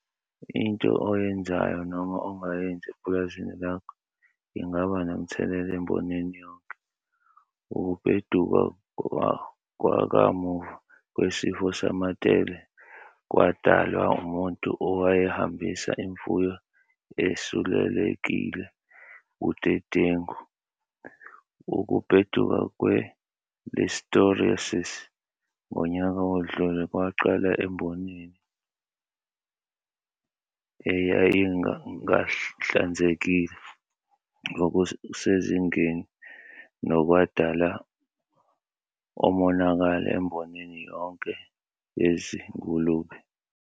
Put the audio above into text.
Into oyenzayo noma ongayenzi epulazini lakho ingaba nomthelela embonini yonke. Ukubheduka kwakamuva kwesifo samatele kwadalwa umuntu owayehambisa imfuyo esulelekile budedengu. Ukubheduka kwe-listerioses ngonyaka odlule kwaqala embonini eyayingahlanzekile ngokusezingeni nokwadala omonakalo emboni yonke yezingulube.